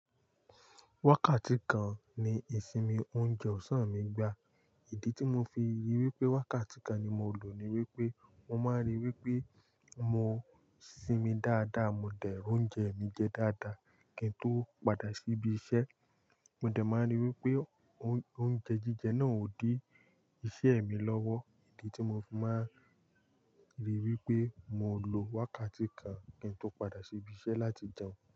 Wákàtí kan ni ìsinmi oúnjẹ ọ̀sán mi gbà. Ìdí tí mo fi rí wípé wákàtí kan ni mo lò ni wípé mo máa ń rí wípé mo ń sinmi dáadáa, mo dẹ̀ ri oúnjẹ mi jẹ dáadáa kí n tó padà síbi iṣẹ́. Mo dẹ̀ máa ń rí wípé oúnjẹ jíjẹ náà ò dí iṣẹ́ mi lọ́wọ́. Ìdí tí mo fi máa ń rí wípé mo lò wákàtí kan kí n tó padà síbi iṣẹ́ láti jẹun.